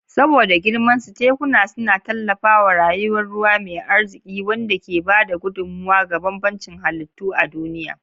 Saboda girmansu, tekuna suna tallafawa rayuwar ruwa mai arziƙi, wanda ke ba da gudummawa ga bambancin halittu a duniya.